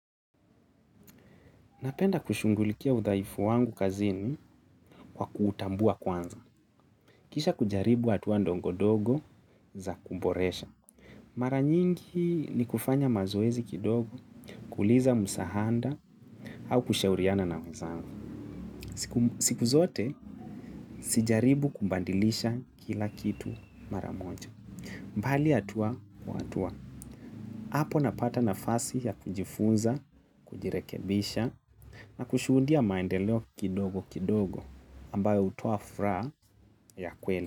Napenda kuchughulikia udhaifu wangu kazini kwa kuutambua kwanza. Kisha kujaribu hatua ndogo ndogo za kuboresha. Mara nyingi ni kufanya mazoezi kidogo, kuuliza msaada, au kushauriana na wezangu. Siku zote, sijaribu kubadilisha kila kitu mara moja. Bali hatua kwa hatua. Hapo napata nafasi ya kujifunza, kujirekebisha na kushuudia maendeleo kidogo kidogo, ambayo hutoa furaha ya kweli.